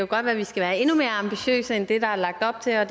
godt være at vi skal være endnu mere ambitiøse end det der er lagt op til og